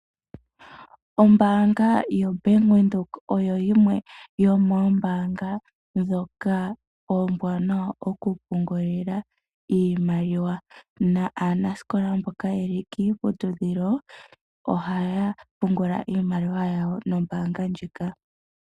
Ombanga yo Bank Widheok oyo yimwe yomombanga dhoka ombwanawa oku pungulila iimaliwa na aanasikola mboka yeli kiputudhilo ohaya pungula iimaliwa yawo nombanga ndjika.